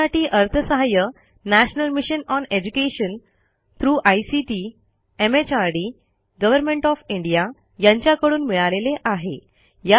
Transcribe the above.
यासाठी अर्थसहाय्य national mission on education through ICT MHRD government of India यांच्याकडून मिळालेले आहे